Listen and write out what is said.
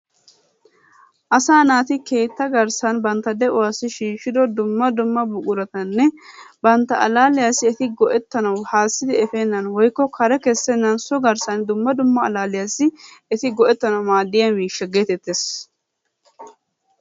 Asaa naati keetta garssan bantta de'uwassi shiishshido dumma dumma buquratanne bantta allaalliyassi eti go'ettanawu haassidi efeennan woykko kare kessennan so garssan dumma dumma allaalliyassi eti go'ettanawu maaddiya miishsha geetettees.